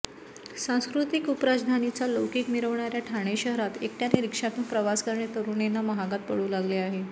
सांस्कृतिक उपराजधानीचा लौकिक मिरवणाऱ्या ठाणे शहरात एकटयाने रिक्षातून प्रवास करणे तरुणींना महागात पडू लागले आहे